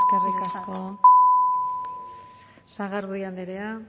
eskerrik asko sagardui andrea